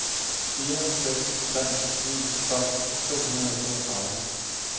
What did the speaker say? fire seks tre ni tolv to hundrede og toogtredive